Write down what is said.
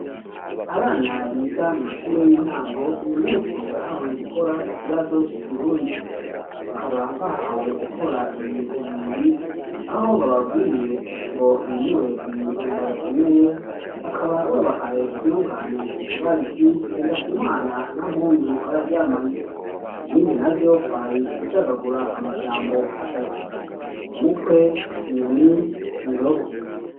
Abana biga mu mashure y'intango uyu musi bahawe gukora ikibazo c'ikirundi bakaba bahawe gukora ibintu bibiri aho bababwiye ngo bimure ibintu mbabasomeye bakaba babahaye iryongane bugariti ngendakumana na mpundu bararyamanye ibindi na vyo kwari gucagagura amajambo atatu umukwe inyoni indobo.